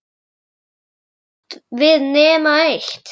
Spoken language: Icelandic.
Gat hún átt við nema eitt?